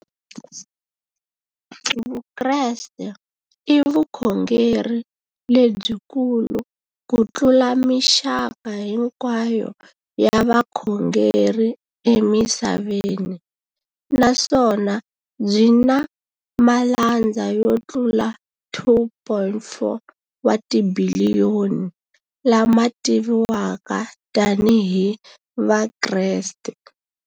Vukreste i vukhongeri lebyi kulu kutlula mixaka hinkwayo ya vukhongeri emisaveni, naswona byi na malandza yo tlula 2.4 wa tibiliyoni, la ma tiviwaka tani hi Vakreste.